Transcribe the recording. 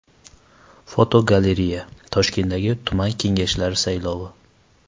Fotogalereya: Toshkentdagi tuman kengashlari saylovi.